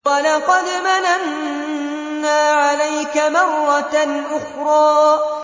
وَلَقَدْ مَنَنَّا عَلَيْكَ مَرَّةً أُخْرَىٰ